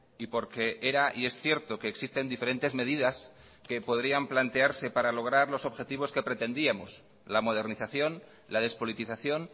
y porque era y es cierto que existen diferentes medidas que podrían plantearse para lograr los objetivos que pretendíamos la modernización la despolitización